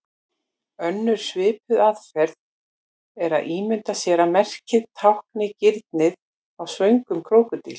Önnur svipuð aðferð er að ímynda sér að merkið tákni ginið á svöngum krókódíl.